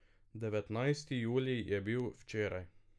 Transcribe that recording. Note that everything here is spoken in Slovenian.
Devetnajsti julij je bil včeraj.